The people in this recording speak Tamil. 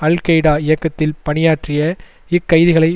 அல் கெய்டா இயக்கத்தில் பணியாற்றிய இக்கைதிகளை